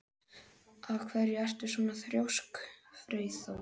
Af hverju ertu svona þrjóskur, Freyþór?